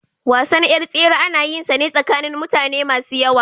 Wasan yar tsere ana yin shi ne tsakanin mutane masu yawa.